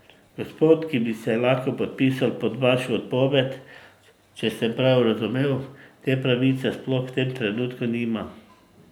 Gospod, ki bi se lahko podpisal pod vašo odpoved, če sem prav razumel, te pravice sploh v tem trenutku nima.